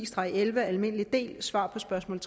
spørgsmålet